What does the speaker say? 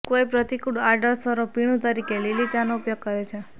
કોઈ પ્રતિકૂળ આડઅસરો પીણું તરીકે લીલી ચાનો ઉપયોગ કરે છે